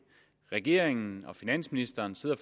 regeringen og finansministeren sidder